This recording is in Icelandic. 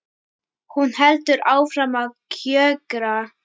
Hún heldur áfram að kjökra.